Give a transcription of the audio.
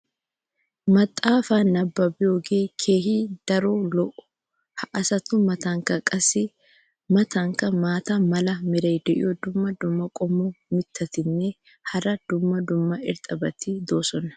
maxaafaa nabbabiyoogee kehi daro lo"o. ha asatu matankka qassi a matankka maata mala meray diyo dumma dumma qommo mitattinne hara dumma dumma irxxabati de'oosona.